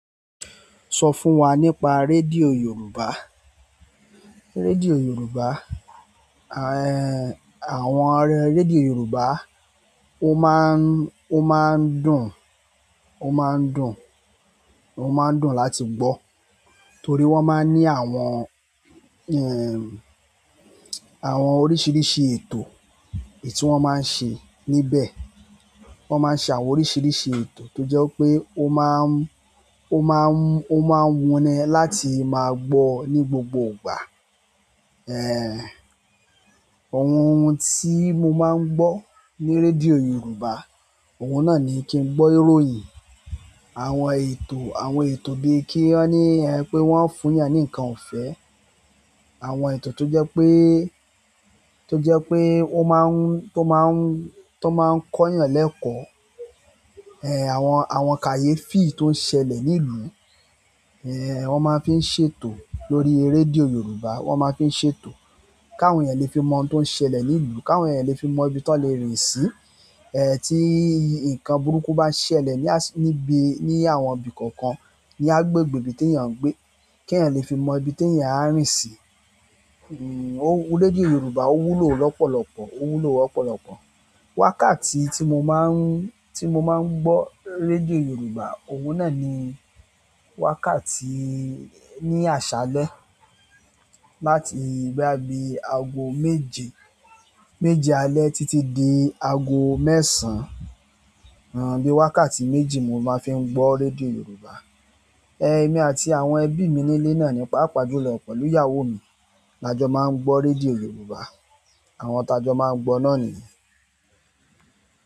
Sọ fún wa nípa rédíò Yorùbá. Rédíò Yorùbá, ẹ̀hń, àwọn ọ̀rẹ́ rédíò Yorùbá, ó máa ń, ó máa ń dùn, ó máa ń dùn, ó máa ń dùn láti gbọ́. Torí wọ́n máa ń ni àwọn, ẹ̀hń, àwọn oríṣiríṣi ètò etí wọ́n máa ń ṣe níbẹ̀. Wo má ń ṣe àwọn oríṣiríṣi ètò tó jẹ́ wí pé ó má ń wuni láti má gbọ́ ni gbogbo ìgbà ẹ̀hń, àwọn ohun tí mo máa ń gbọ́ ní rédíò Yorùbá, òun náà ni kí n gbọ́ ìròyìn, àwọn ẹ̀tọ́, àwọn ètò bíi kí wọ́n ní, ẹ pé wọ́n ń fún yàn ní nǹkan ọ̀fẹ́. Àwọn ètò tó jẹ́ pé, tó jẹ́ pé ó máa ń, tó máa ń, tó máa ń kọ yàn lẹ́kọ̀ọ́. Ẹ̀hń, àwọn, àwọn kàyéfì tó ń ṣẹlẹ̀ ní ìlú, ẹ̀hń, wọ́n máa fi ń ṣètò lórí rédíò Yorùbá. Wọ́n máa fi ń ṣètò kí àwọn ènìyàn lè fi mọ ohun tó ń ṣẹlẹ̀ ní ìlú, kí àwọn ènìyàn lè fi mọ ibí tó lè rìn sí eh, tí nǹkan burúkú bá ṣẹlẹ̀ ní, níbí, ni àwọn ibí kọ̀ọ̀kan ní agbègbè bí tí yàn gbé, kí ènìyàn lè fi mọ ibí tí ènìyàn a rìn sí. Hmm, ó rédíò Yorùbá ó wúlò lọ́pọ̀lọpọ̀, ó wúlò ọ̀pọ̀lọpọ̀. Wákàtí tí mo máa ń, tí mo máa ń gbọ́ rédíò Yorùbá, òun náà ni wákàtí ní àṣálẹ́ láti bóyá bí aago méje, méje alẹ́ títí dé aago mẹ́sàn án. Nǹkan bí wákàtí méjì ni mo má ń fi gbọ́ rédíò Yorùbá. Ẹ̀hń, èmi àti àwọn ẹbí mi nílé náà ní, pàápàá jùlọ pẹ̀lú ìyàwó mi la jọ máa ń gbọ́ rédíò Yorùbá. Àwọn ta jọ máa ń gbọ́ náà nìyí.